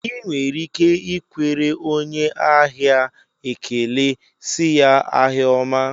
I nwere ike ikwere onye ahịa ekele sị ya, ahịa ọma